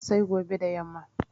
Sai gobe da yamma